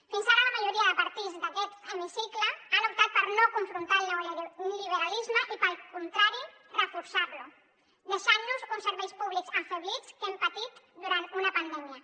fins ara la majoria de partits d’aquest hemicicle han optat per no confrontar el neoliberalisme i pel contrari reforçar lo deixant nos uns serveis públics afeblits que hem patit durant una pandèmia